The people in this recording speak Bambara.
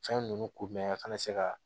Fɛn ninnu kunbɛn a kana se ka